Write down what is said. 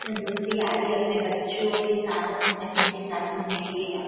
अपनी दोस्ती यारी अपने बच्चो के साथ अपनी फेमली के साथ घूमने के लिए जाते है।